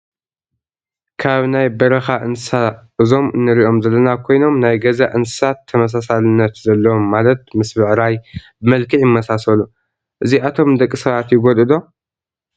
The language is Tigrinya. ካብ ናይ በረካ እንስሳ እዞን እንሪኦም ዘለና ኮይኖም ናይ ገዛ እንስሳሳት ተመሳሳሊነት ዘለዎም ማለት ምስ ብዕራይ ብመልክ ይመሳሰሉ። እዚኣቶን ንደቂሰባት ይጎድኡ ዶ?